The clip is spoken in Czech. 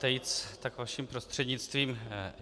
Tejc, tak vaším prostřednictvím.